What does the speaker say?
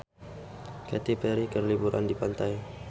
Katy Perry keur liburan di pantai